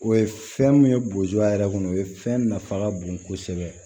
O ye fɛn min ye boya yɛrɛ kɔnɔ o ye fɛn nafa ka bon kosɛbɛ